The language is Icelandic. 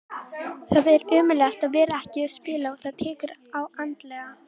Það er ömurlegt að vera ekki að spila og það tekur á andlega.